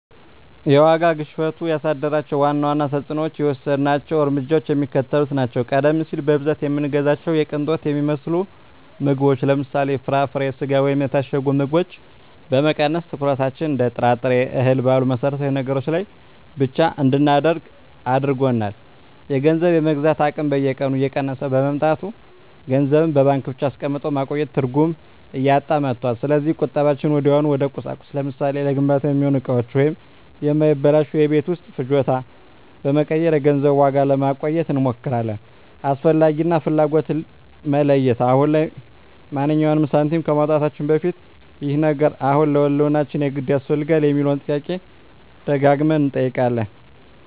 የዋጋ ግሽበቱ ያሳደራቸው ዋና ዋና ተፅዕኖዎችና የወሰድናቸው እርምጃዎች የሚከተሉት ናቸው፦ ቀደም ሲል በብዛት የምንገዛቸውን የቅንጦት የሚመስሉ ምግቦችን (ለምሳሌ፦ ፍራፍሬ፣ ስጋ ወይም የታሸጉ ምግቦች) በመቀነስ፣ ትኩረታችንን እንደ ጥራጥሬና እህል ባሉ መሠረታዊ ነገሮች ላይ ብቻ እንድናደርግ አድርጎናል። የገንዘብ የመግዛት አቅም በየቀኑ እየቀነሰ በመምጣቱ፣ ገንዘብን በባንክ ብቻ አስቀምጦ ማቆየት ትርጉም እያጣ መጥቷል። ስለዚህ ቁጠባችንን ወዲያውኑ ወደ ቁሳቁስ (ለምሳሌ፦ ለግንባታ የሚሆኑ እቃዎች ወይም የማይበላሹ የቤት ውስጥ ፍጆታዎች) በመቀየር የገንዘቡን ዋጋ ለማቆየት እንሞክራለን። "አስፈላጊ" እና "ፍላጎት"ን መለየት፦ አሁን ላይ ማንኛውንም ሳንቲም ከማውጣታችን በፊት "ይህ ነገር አሁን ለህልውናችን የግድ ያስፈልጋል?" የሚለውን ጥያቄ ደጋግመን እንጠይቃለን።